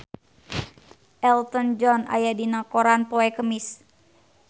Elton John aya dina koran poe Kemis